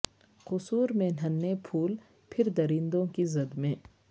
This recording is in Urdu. قصور میں ننھے پھول پھر درندوں کی زد میں